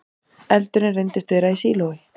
Eldurinn reyndist vera í sílói